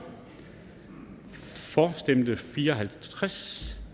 for stemte fire og halvtreds